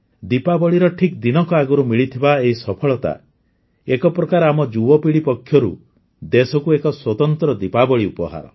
ଦୀପାବଳିର ଠିକ୍ ଦିନକ ଆଗରୁ ମିଳିଥିବା ଏହି ସଫଳତା ଏକ ପ୍ରକାର ଆମ ଯୁବପିଢ଼ି ପକ୍ଷରୁ ଦେଶକୁ ଏକ ସ୍ୱତନ୍ତ୍ର ଦୀପାବଳି ଉପହାର